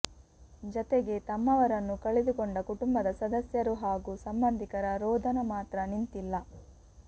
ಜತೆಗೆ ತಮ್ಮವರನ್ನು ಕಳೆದುಕೊಂಡ ಕುಟಂಬದ ಸದಸ್ಯರು ಹಾಗೂ ಸಂಬಂಧಿಕರ ರೋದನ ಮಾತ್ರ ನಿಂತಿಲ್ಲ